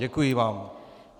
Děkuji vám.